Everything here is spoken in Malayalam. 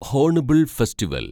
hornbill festival